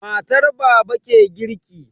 Matar baba ke girki.